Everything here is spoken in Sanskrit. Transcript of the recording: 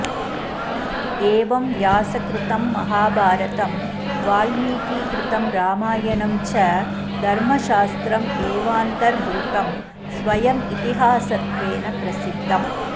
एवं व्यासकृतं महाभारतं वाल्मीकिकृतं रामायणं च धर्मशास्त्रं एवान्तर्भूतं स्वयमितिहासत्वेन प्रसिद्धम्